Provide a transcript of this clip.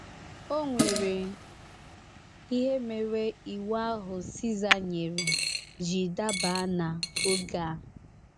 O nwere ihe mere ịwu ahụ Siza nyere ji daba n’oge a.